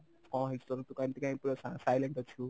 କଣ ହେଇଛି ତୋର ତୁ କାଇଁ ଏମିତି କାଇଁ ପୁରା silent ଅଛୁ?